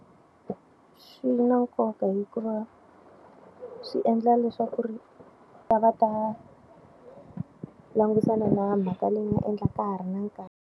Swi na nkoka hikuva swi endla leswaku ri va ta va ta langutisana na mhaka leyi nga endlaka ka ha ri na nkarhi.